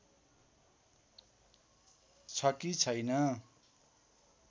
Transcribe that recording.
छ कि छैन